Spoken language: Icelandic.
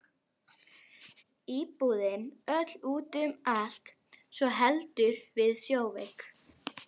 Íbúðin öll út um allt svo heldur við sjóveiki.